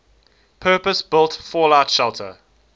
purpose built fallout shelter